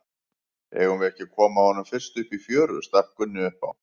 Eigum við ekki að koma honum fyrst upp í fjöru, stakk Gunni upp á.